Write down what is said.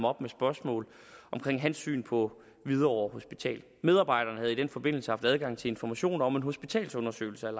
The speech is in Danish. op med spørgsmål om hans syn på hvidovre hospital medarbejderen havde i den forbindelse haft adgang til information om en hospitalsundersøgelse af